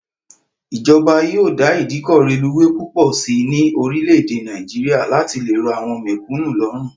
Ìjọba yóò dá ìdíkọ̀ reluwé púpọ̀ sí ní orílè èdè Nàìjíríà láti lè rọ àwọn mẹ̀kúnnù lọ́rùn